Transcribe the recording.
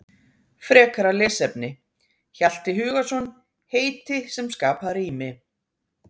Frekara lesefni: Hjalti Hugason, Heiti sem skapa rými.